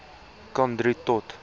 kan drie tot